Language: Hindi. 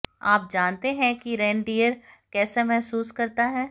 आप जानते हैं कि रेनडियर कैसा महसूस करता है